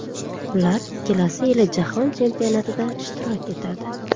Ular kelasi yili Jahon chempionatida ishtirok etadi.